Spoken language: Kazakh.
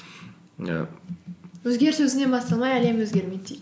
і өзгеріс өзіңнен басталмай әлем өзгермейді дейді